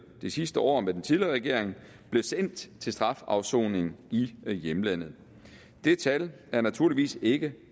det sidste år med den tidligere regering blev sendt til strafafsoning i hjemlandet det tal er naturligvis ikke